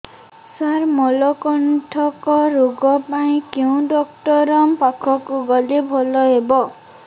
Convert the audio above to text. ସାର ମଳକଣ୍ଟକ ରୋଗ ପାଇଁ କେଉଁ ଡକ୍ଟର ପାଖକୁ ଗଲେ ଭଲ ହେବ